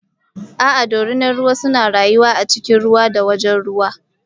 A'a dorinar ruwa suna rayuwa a cikin ruwa da wajen ruwa.